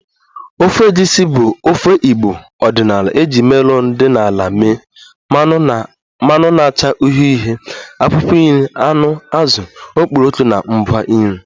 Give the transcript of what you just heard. Ofe Egusi bụ ofe igbo ọdịnala e ji melon dị n'ala mee, mmanụ na-acha uhie uhie, akwụkwọ nri, anụ, azụ, okporoko na ngwa nri